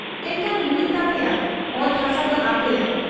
ᱮᱱᱠᱷᱟᱱ ᱦᱩᱭᱩᱜ ᱛᱟᱯᱮᱭᱟ ᱚᱛᱦᱟᱥᱟᱫᱚ ᱟᱯᱮᱭᱟᱜ ᱾